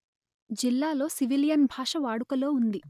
జిల్లాలో సివిలియన్ భాషవాడుకలో ఉంది